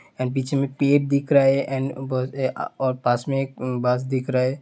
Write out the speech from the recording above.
And पीछे में पेड दिख रहा है ऐंड और पास में एक बस दिख रहा है।